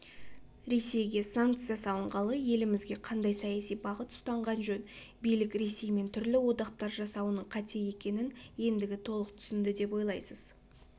ресейге санкция салынғалы елімізге қандай саяси бағыт ұстанған жөн билік ресеймен түрлі одақтар жасауының қате екенін ендігі толық түсінді деп ойлайсыз